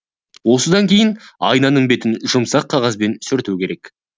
осыдан кейін айнаның бетін жұмсақ қағазбен сүрту керек